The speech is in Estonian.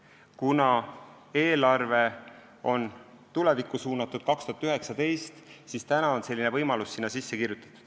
Kuna 2019. aasta eelarve on tulevikku suunatud, siis on selline võimalus sinna sisse kirjutatud.